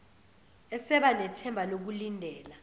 eseba nethemba lokulindela